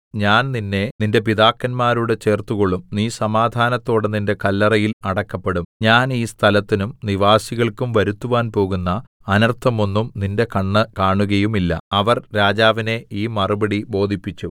ഞാൻ നിന്നെ നിന്റെ പിതാക്കന്മാരോട് ചേർത്തുകൊള്ളും നീ സമാധാനത്തോടെ നിന്റെ കല്ലറയിൽ അടക്കപ്പെടും ഞാൻ ഈ സ്ഥലത്തിനും നിവാസികൾക്കും വരുത്തുവാൻ പോകുന്ന അനർത്ഥമൊന്നും നിന്റെ കണ്ണ് കാണുകയുമില്ല അവർ രാജാവിനെ ഈ മറുപടി ബോധിപ്പിച്ചു